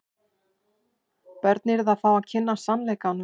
Börn yrðu að fá að kynnast sannleikanum.